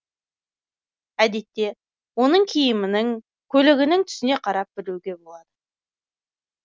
әдетте оның киімінің көлігінің түсіне қарап білуге болады